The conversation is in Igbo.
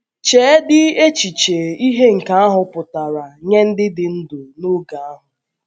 Cheedị echiche ihe nke ahụ pụtara nye ndị dị ndụ n’oge ahụ!